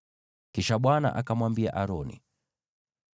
Kisha Bwana akamwambia Aroni,